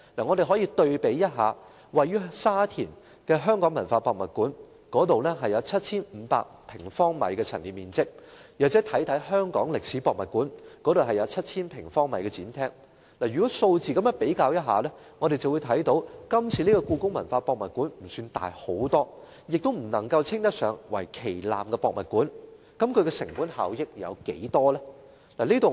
我們可以對比一下位於沙田的香港文化博物館，那裏有 7,500 平方米的陳列面積，又或看看香港歷史博物館，那裏有 7,000 平方米的展廳。如此一對比，我們會看到故宮館並不特別大型，亦不能夠稱得上為旗艦博物館，那麼其成本效益有多大呢？